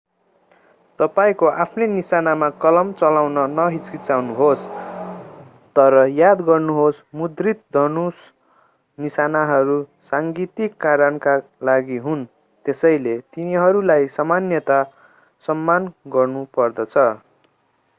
तपाईंको आफ्नै निशानामा कलम चलाउन नहिचकिचाउनुहोस् तर याद गर्नुहोस् मुद्रित धनुष निशानहरू साङ्गीतिक कारणका लागि हुन् त्यसैले तिनीहरूलाई सामान्यतः सम्मान गर्नुपर्दछ